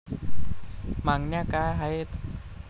मागण्या काय आहेत?